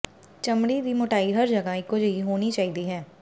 ਚਮੜੀ ਦੀ ਮੋਟਾਈ ਹਰ ਜਗ੍ਹਾ ਇਕੋ ਜਿਹੀ ਹੋਣੀ ਚਾਹੀਦੀ ਹੈ